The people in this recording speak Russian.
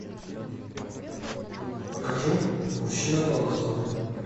покажи мужчина по вызову